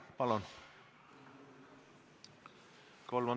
Palun!